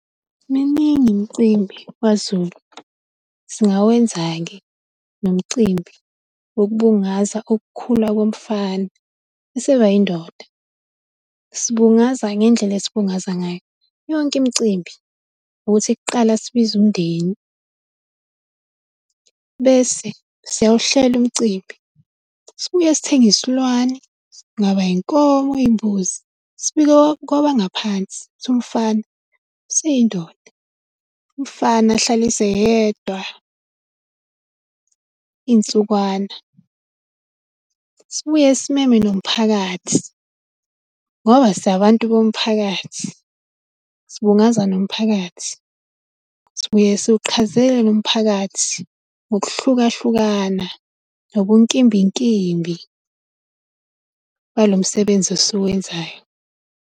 Miningi imicimbi kwaZulu, singawenza-ke nomcimbi wokubungaza ukukhula komfana esebayindoda. Sibungaza ngendlela esibungaza ngayo yonke imicimbi, ukuthi kuqala sibize umndeni, bese siyawuhlela umcimbi, sibuye sithenge isilwane. Kungaba inkomo imbuzi, sibike kwabangaphansi ukuthi umfana useyindoda. Umfana ahlaliswe yedwa, iy'nsukwana. Sibuye simeme nomphakathi, ngoba singabantu bomphakathi, sibungaza nomphakathi, sibuye siwuqhazele lo mphakathi ngokuhlukahlukana nobunkimbinkimbi balo msebenzi esiwenzayo.